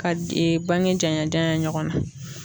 Ka d ee bange janya janya ɲɔgɔn na